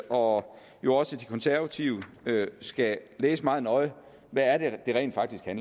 og jo også de konservative skal læse meget nøje hvad det rent faktisk er